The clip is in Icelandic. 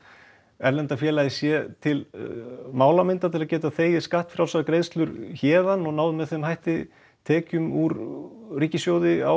erlenda félagið sé til málamynda til að geta þegið skattfrjálsar greiðslur héðan og náð með þeim hætti tekjum úr ríkissjóði á